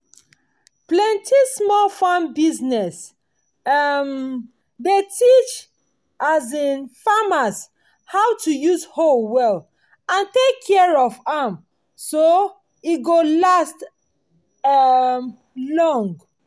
plenty small farm business um dey teach um farmers how to use hoe well and take care of am so e go last um long.